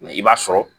i b'a sɔrɔ